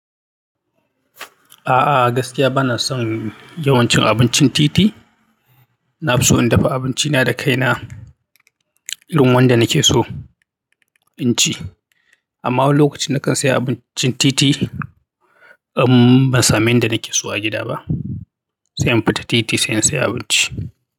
A'a, gaskiya bana son yawan cin abincin titi. Na fi so in dafa abinci na da kai na irin wanda nake so in ci. Amma lokacin da ka saya abincin titi, in ban samu abinda nake so a gida ba, sai in fita titi sai in seya abinci.